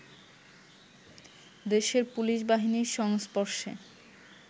দেশের পুলিশ বাহিনীর সংস্পর্শে